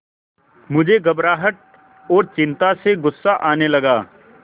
मुझे घबराहट और चिंता से गुस्सा आने लगा